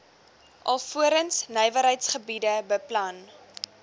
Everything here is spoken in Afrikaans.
alvorens nywerheidsgebiede beplan